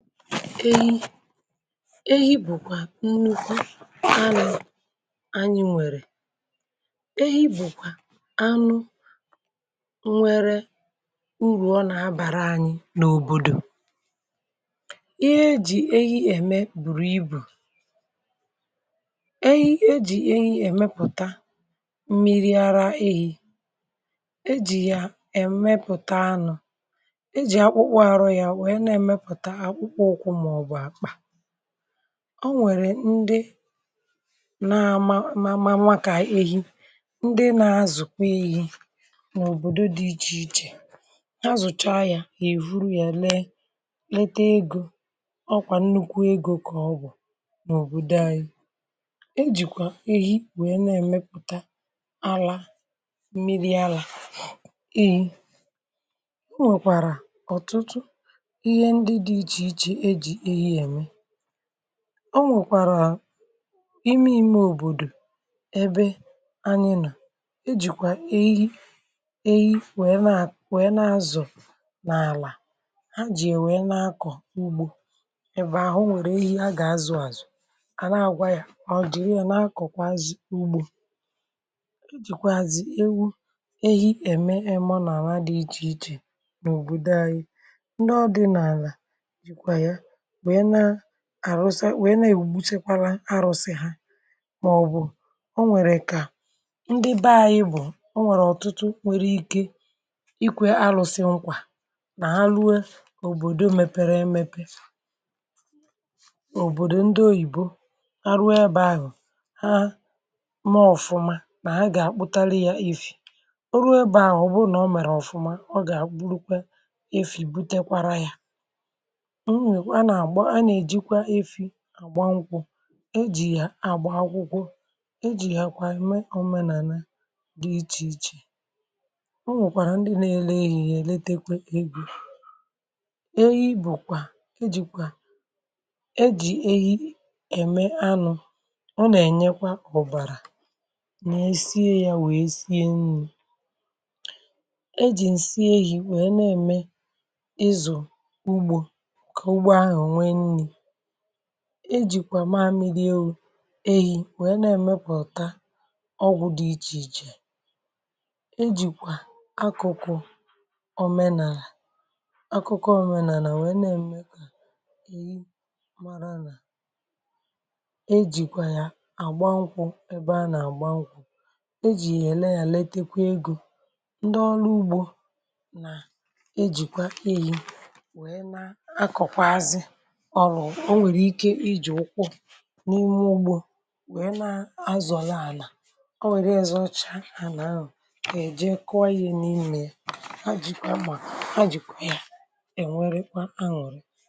Ehi bụ̀kwà, nnukwu anyị, nwèrè ehi, bụ̀kwà, anụ, nwere urù, ọ nà-abàra anyị n’òbòdò, ihe e jì ehi ème, bùrù ibù ehi, e jì ehi, èmepụ̀ta, mmiri ara ehi̇, e jì yà, èmepụ̀ta anọ̇, e jì akpụkpụ àrọ, ya, ọ nwèrè ndị, na ama, ma nwa, kà ehi, ndị na-azụ̀kwa ihe, n’òbòdò, dị ichè ichè, ha zụ̀cha ya, yà, èhuru ya, lee lete, egȯ, ọ kwà, nnukwu egȯ, kà ọ bụ̀ n’òbòdò, anyi, e jìkwà ehi, wèe, na-èmepụ̀ta, ala mmiri, alà i, o nwèkwàrà, ọ̀tụtụ, o nwèkwàrà, ime ime, òbòdò, ebe anyị, nà e jìkwà ehi, ehi, wee, na-azụ̀ n’àlà, ha jì, wee, na-akọ̀, ugbȯ, ebe ahụ, nwèrè ehi, a gà-azụ̀, àzụ, a na-agwȧ, yȧ, ọ dìyàrà, yà, na-akọ̀kwa, azị̀, ugbȯ, jìkwàzị̀, ewu ehi, ème emȯnaama, dị ichè ichè, n’òbòdò anyị, àrụsa àrụsa, wee, na-èwugbutekwara, arụ̇sị, ha, màọbụ̀, o nwèrè, kà ndị, bẹ anyị, bụ̀, o nwèrè, ọ̀tụtụ, nwụrụ ike, ikwe, arụ̇sị, nkwa, nà ha, lue, òbòdò, mepẹrẹ, emepe, òbòdò, ndị oyìbo, aru, ebeȧ, hụ̀, ha, maọ̀fụma, nà ha, gà, kpụtali, ya, if, o ruo, ebeà, ọ̀ bụrụ, nà o mèrè, ọ̀fụma, ọ gà àkpụrụkwa, efi, butekwara, ya, àgba, nkwụ, e jì, àgba, akwụkwọ, e jì, yà, kwà, ème, ọmenàna, dị ichè ichè, o nwèkwàrà, ndị nȧ-elu, ehi̇, yȧ, èletekwa, egwu, ehi, bụ̀ kwà, ejìkwà, e jì, ehi, ẹ̀mẹ, anụ̇, ọ nà-ènyekwa, ọ̀bàrà, nà-esie, yȧ, wèe, sie, nni, e jì, ǹsɪ, ehi̇, wèe, na-ẹ̀mẹ, ịzụ̀, ejìkwà, maamịrị, ewu, ehi, weė, na-èmepụ̀ta, ọgwụ̀, dị ichè ichè, ejìkwà, akụkụ̀, omenàlà, akụkụ̀, omenàlàlà, wee, na-èmeka, èyi, mara, n’ ejìkwà, ya, àgba, nkwù, ebe a, nà-àgba, nkwù, ejì, yà, ẹ̀lẹ̀nyẹlẹ, etekwa, egȯ, ndị ọrụ, ugbȯ, na-ejìkwa, ehi, ọrụ, o nwèrè, ike, iji̇, ụkwụ, n’ime, ogbù, o nà-azọ̀la, àlà, o nwèrè, ya, zọcha, àlà, anà-anwù, kà-èje, kụọ, ihe, n’imė, ha, jìkwà, kpà, ha, jìkwà, ya, è nwerịkwa, anwùrị.